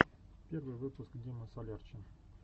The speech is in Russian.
первый выпуск дима солярчин